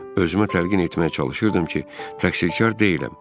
Özümə təlqin etməyə çalışırdım ki, təqsirkar deyiləm.